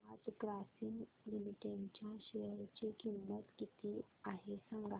आज ग्रासीम लिमिटेड च्या शेअर ची किंमत किती आहे सांगा